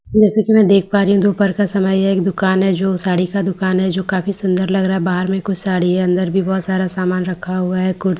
जैसे की मैं देख पा रही हूँ दोपहर का समय है यह एक दुकान है जो साड़ी दुकान है जो काफी सुन्दर लग रहा है बाहर में कुछ साड़ी है अन्दर भी बहुत सारा सामान रखा हुआ है कुर्ती है ब्लाउज--